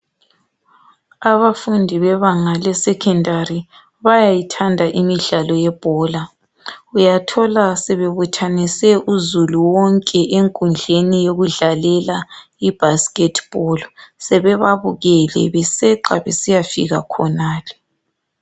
Abafundi bebanga le secondary bayayithanda imidlalo yebhola uyathola sebebuthanise uzulu wonke enkundleni yokudlalela i basketball bebabukele beseqa beyefika khonale.